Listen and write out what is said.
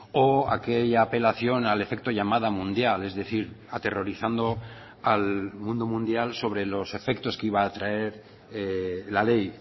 o aquella apelación al efecto llamada mundial es decir aterrorizando al mundo mundial sobre los efectos que iba a traer la ley